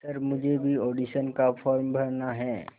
sir मुझे भी audition का फॉर्म भरना है